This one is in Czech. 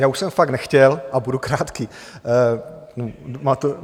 Já už jsem fakt nechtěl a budu krátký.